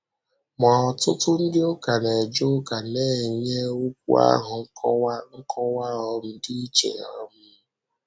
Ma, ọtụtụ ndị ụka na-eje ụka na-enye okwu ahụ nkọwa nkọwa um dị iche. um